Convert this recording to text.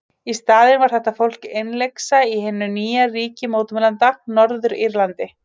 Í staðinn var þetta fólk innlyksa í hinu nýja ríki mótmælenda, Norður-Írlandi.